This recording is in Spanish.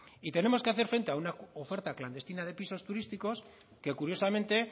y tenemos que hacer frente a una oferta clandestina de pisos turísticos que curiosamente